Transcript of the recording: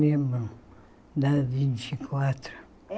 Lembro da vinte e quatro.